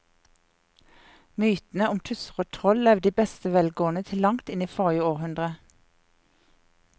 Mytene om tusser og troll levde i beste velgående til langt inn i forrige århundre.